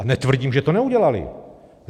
A netvrdím, že to neudělali.